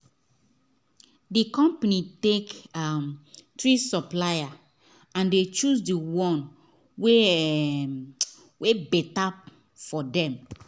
the company take um 3 supplier and they choose the one wey um better for them